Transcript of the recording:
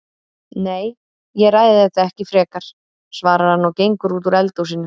Nei, ég ræði þetta ekki frekar, svarar hann og gengur út úr eldhúsinu.